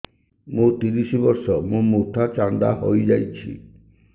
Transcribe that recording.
ମୋ ତିରିଶ ବର୍ଷ ମୋ ମୋଥା ଚାନ୍ଦା ହଇଯାଇଛି